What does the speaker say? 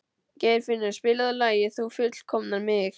Geirfinnur, spilaðu lagið „Þú fullkomnar mig“.